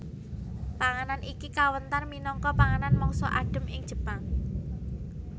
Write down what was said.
Panganan iki kawentar minangka panganan mangsa adhem ing Jepang